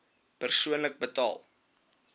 persoonlik betaal